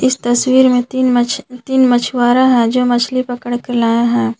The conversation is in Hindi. इस तस्वीर में तीन मछ मछुआरा है जो मछली पकड़ कर लाया है।